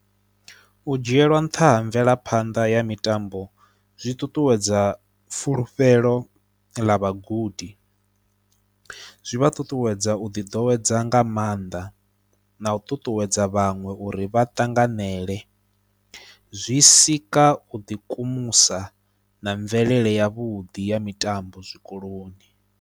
U dzhielwa nṱha ha mvelaphanḓa ya mitambo, zwi ṱuṱuwedza fulufhelo ḽa vhagudi, zwi vha ṱuṱuwedza u ḓiḓowedza nga maanḓa na u ṱuṱuwedza vhaṅwe uri vha ṱanganele, zwi sika u ḓikumusa na mvelele yavhuḓi ya mitambo zwikoloni.